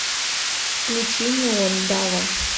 включи неон дава